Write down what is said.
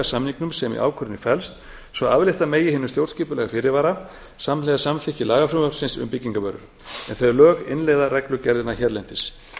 samningnum sem í ákvörðunni felst svo aflétta megi hinum stjórnskipulega fyrirvara samhliða samþykki lagafrumvarpsins um byggingarvörur en þau lög innleiða reglugerðina hérlendis